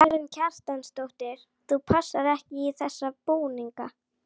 Karen Kjartansdóttir: Þú passar ekki í þessa búninga?